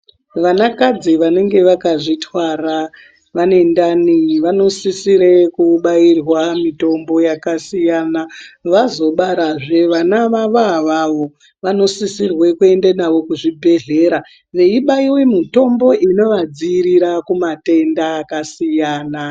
Vanakadzi vanenge vakazvitwara vane ndani vanositse kubairwa mutombo yakasiyana vazobarazve vana vavo avavo ,vanosisire kuenda navo kuzvibhedhlera vaibaiwa mitombo inovadzivirira kumatenda akasiyana.